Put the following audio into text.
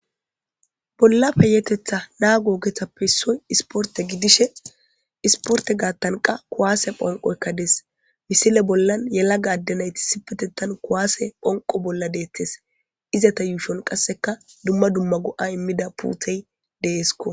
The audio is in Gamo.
Bollape yeetetha naa googethappe issoy isporte gidishe isporte gaattanqa kuwaase phonqo ekkades misile bollan yelaga addenayti sipetettan kuwaase phonqo bolla deettes izata yuushon qasseka dumma dumma go'a immida puuthey deesko